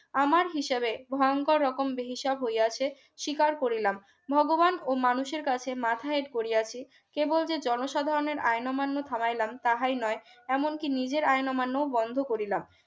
আমার হিসেবে ভয়ংকর রকম বেহিসাব হইয়াছে স্বীকার করিলাম ভগবান ও মানুষের কাছে মাথা হেট করিয়াছিকেবল যে জনসাধারণের আইন অমান্য থামাইলাম তাই নয় এমনকি নিজের আইন অমান্য বন্ধ করিলাম